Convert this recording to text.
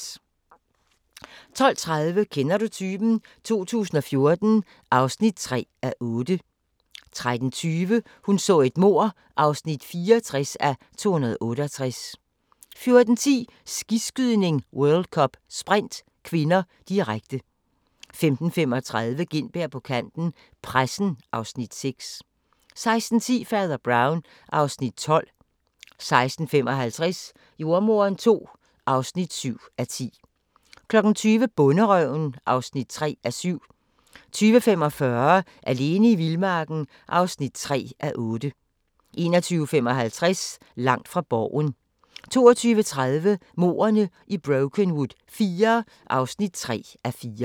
12:30: Kender du typen? 2014 (3:8) 13:20: Hun så et mord (64:268) 14:10: Skiskydning: World Cup - Sprint (k), direkte 15:35: Gintberg på kanten - Pressen (Afs. 6) 16:10: Fader Brown (Afs. 12) 16:55: Jordemoderen II (7:10) 20:00: Bonderøven (3:7) 20:45: Alene i vildmarken (3:8) 21:55: Langt fra Borgen 22:30: Mordene i Brokenwood IV (3:4)